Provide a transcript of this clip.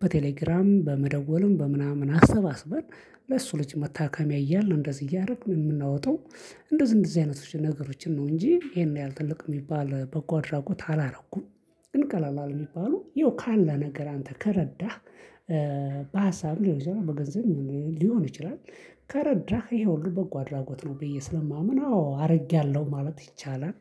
በቴሌግራም በመደወልም በምናምን አሰባስበን ለሱ ልጅ መታከሚያ እያልን እንደዚህ እያረኩኝ የምናወጣው። እንደዚህ እንደዚህ አይነቶች ነገሮችን ነው እንጂ ይሄን ያህል ትልቅ የሚባል በጎ አድራጎት አላረኩም። ግን ቀላል አለ የሚባሉ ያው ካለ ነገር አንተ ከረዳህ። በሀሳብም ሊሆን ይችላል በገንዘብ ሊሆን ይችላል። ከረዳህ ይሄ ሁሉ በጎ አድራጎት ነው ብዬ ስለማምን አዎ አርጌያለሁ ማለት ይቻላል